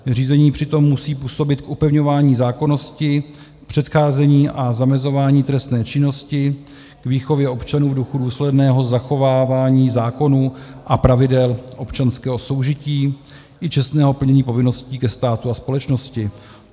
Řízení přitom musí působit k upevňování zákonnosti, předcházení a zamezování trestné činnosti, k výchově občanů v duchu důsledného zachovávání zákonů a pravidel občanského soužití i čestného plnění povinností ke státu a společnosti.